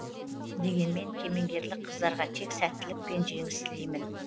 дегенмен кемеңгерлік қыздарға тек сәттілік пен жеңіс тілеймін